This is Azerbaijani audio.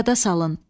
Yada salın.